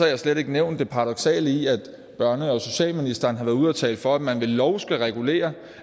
jeg slet ikke nævnt det paradoksale i at børne og socialministeren har været ude og tale for at man med lov skal regulere